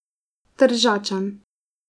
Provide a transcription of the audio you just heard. Tržačan.